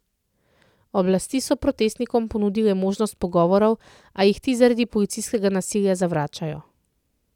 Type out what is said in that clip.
Oblasti so protestnikom ponudile možnost pogovorov, a jih ti zaradi policijskega nasilja zavračajo.